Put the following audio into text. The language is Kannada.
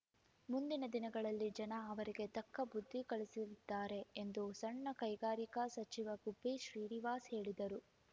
ಮುಂದಿನ ದಿನಗಳಲ್ಲಿ ಜನ ಅವರಿಗೆ ತಕ್ಕ ಬುದ್ಧಿ ಕಲಿಸಲಿದ್ದಾರೆ ಎಂದು ಸಣ್ಣ ಕೈಗಾರಿಕಾ ಸಚಿವ ಗುಬ್ಬಿ ಶ್ರೀನಿವಾಸ್‌ ಹೇಳಿದರು